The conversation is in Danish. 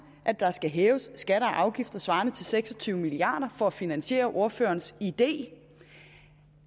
at der skal hæves skatter og afgifter svarende til seks og tyve milliard kroner for at finansiere ordførerens idé